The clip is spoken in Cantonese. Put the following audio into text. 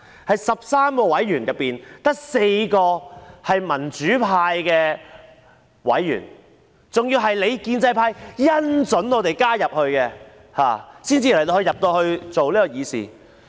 在13名委員之中，只有4人是民主派的委員，他們還要得到建制派"恩准"加入，才能夠議事。